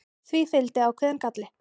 Því fylgdi ákveðinn galli.